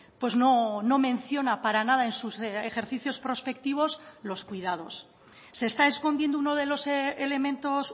pues no menciona para nada en sus ejercicios prospectivos los cuidados se está escondiendo uno de los elementos